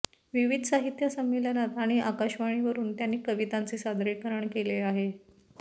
विविध साहित्य संमेलनात आणि आकाशवाणीवरून त्यांनी कवितांचे सादरीकरण केले आहे